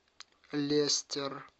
лестер